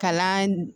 Kalan